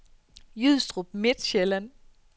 Jystrup Midtsjælland